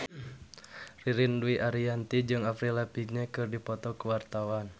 Ririn Dwi Ariyanti jeung Avril Lavigne keur dipoto ku wartawan